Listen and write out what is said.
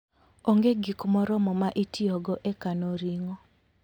onge gik moromo ma i tiyogo e kano ring'o.